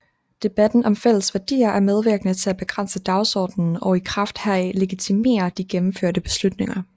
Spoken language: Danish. Debatten om fælles værdier er medvirkende til at begrænse dagsordenen og i kraft heraf legitimere de gennemførte beslutninger